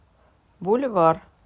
буль вар